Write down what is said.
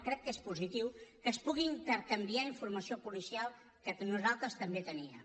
crec que és positiu que es pugui intercanviar informació policial que nosaltres també teníem